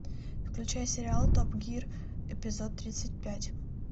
включай сериал топ гир эпизод тридцать пять